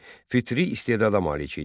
Fitri istedada malik idi.